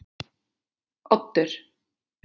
Oddur